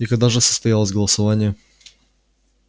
и когда же состоялось голосование